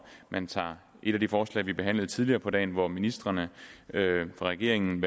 man tager et af de forslag vi behandlede tidligere på dagen hvor ministrene fra regeringen